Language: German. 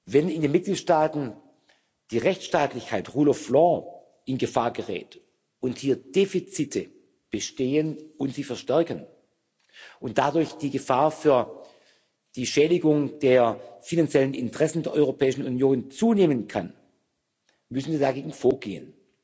Wenn in den Mitgliedstaaten die Rechtsstaatlichkeit rule of law in Gefahr gerät und hier Defizite bestehen und sich verstärken und dadurch die Gefahr für die Schädigung der finanziellen Interessen der Europäischen Union zunehmen kann, müssen wir dagegen vorgehen.